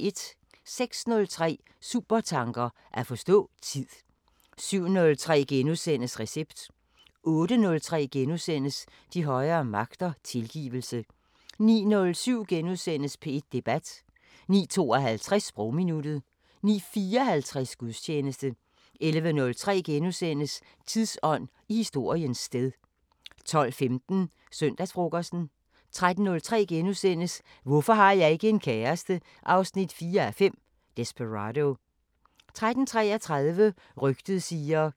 06:03: Supertanker: At forstå tid 07:03: Recept * 08:03: De højere magter: Tilgivelse * 09:07: P1 Debat * 09:52: Sprogminuttet 09:54: Gudstjeneste 11:03: Tidsånd: I historiens sted * 12:15: Søndagsfrokosten 13:03: Hvorfor har jeg ikke en kæreste? 4:5 – Desperado * 13:33: Rygtet siger